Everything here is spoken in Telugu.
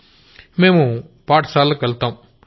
గౌరవ్ మేం స్కూళ్లకెళ్తాం